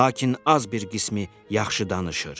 Lakin az bir qismi yaxşı danışır.